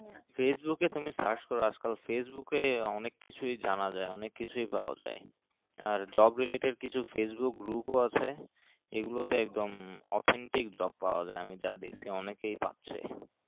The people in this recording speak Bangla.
facebook এ তুমি search করো আজকাল facebook এ অনেক কিছুই জানা যায় অনেক কিছুই পাওয়া যায় আর job related কিছু facebook group ও আছে এগুলো তে একদম authentic job পাওয়া যাই আমি যা দেখলাম অনেকেই পাচ্ছে